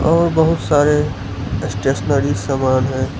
और बहुत सारे स्टेशनरी सामान है।